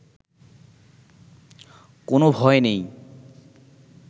কোনো ভয় নেই